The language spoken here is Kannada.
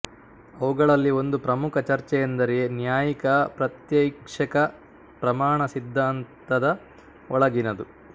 ಅವುಗಳಲ್ಲಿ ಒಂದು ಪ್ರಮುಖ ಚರ್ಚೆಯೆಂದರೆ ನ್ಯಾಯಿಕ ಪ್ರತ್ಯಕ್ಷೈಕ ಪ್ರಮಾಣ ಸಿದ್ಧಾಂತದ ಒಳಗಿನದು